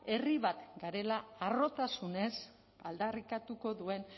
herri bat garela harrotasunez aldarrikatuko duen